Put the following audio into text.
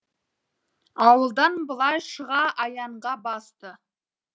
ауылдан былай шыға аяңға басты